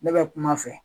Ne bɛ kuma a fɛ